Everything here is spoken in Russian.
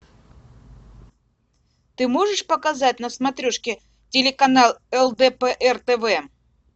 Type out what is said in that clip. ты можешь показать на смотрешке телеканал лдпр тв